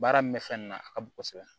Baara min bɛ fɛn na a ka bon kosɛbɛ